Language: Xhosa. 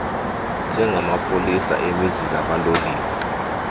njengamapolisa emizila kaloliwe